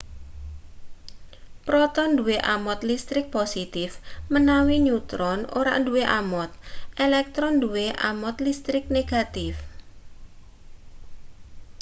proton duwe amot listrik positif menawi neutron ora duwe amot elektron duwe amot listrik negatif